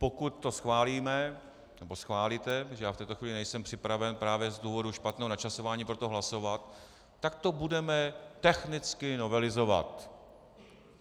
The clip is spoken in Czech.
Pokud to schválíme, nebo schválíte, protože já v této chvíli nejsem připraven právě z důvodu špatného načasování pro to hlasovat, tak to budeme technicky novelizovat.